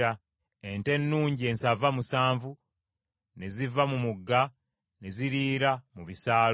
ente ennungi ensava musanvu ne ziva mu mugga ne ziriira mu bisaalu;